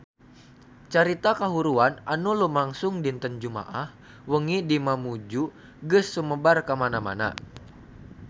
Carita kahuruan anu lumangsung dinten Jumaah wengi di Mamuju geus sumebar kamana-mana